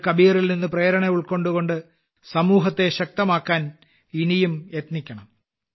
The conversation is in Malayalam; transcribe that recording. നാം കബീറിൽ നിന്ന് പ്രേരണ ഉൾക്കൊണ്ട് സമൂഹത്തെ ശക്തമാക്കാൻ ഇനിയും യത്നിക്കണം